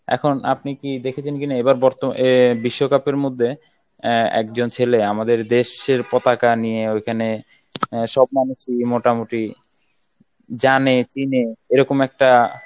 এখন আপনি কি দেখেছেন কিনা এবার বর্তমান এ বিশ্বকাপের মধ্যে আহ একজন ছেলে আমাদের দেশ এর পতাকা নিয়ে ওইখানে সব মানুষই মোটামুটি জানে চিনে এরকম একটা